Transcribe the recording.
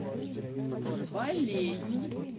балею